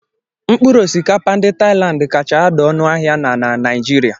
Mkpụrụ osikapa ndị Thailand kacha ada ọnụ ahịa na na Naijiria